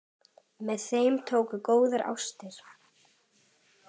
Með þeim tókust góðar ástir.